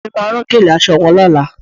Ìyá mi máa rán gèlè aṣọ wọn lọ́la